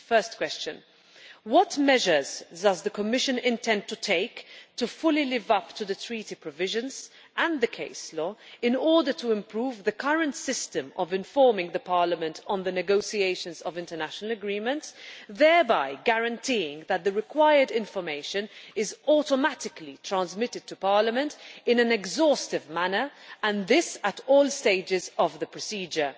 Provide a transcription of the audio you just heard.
First, what measures does the Commission intend to take to fully live up to the Treaty provisions and the case law in order to improve the current system of informing Parliament on the negotiations of international agreements, thereby guaranteeing that the required information is automatically transmitted to Parliament in an exhaustive manner and this at all stages of the procedure?